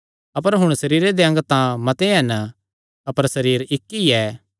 अपर हुण सरीरे दे अंग तां मते हन अपर सरीर इक्क ई ऐ